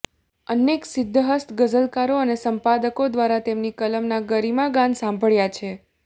અનેક સિદ્ધહસ્ત ગઝલકારો અને સંપાદકો દ્વારા તેમની કલમના ગરિમાગાન સાંભળ્યા છે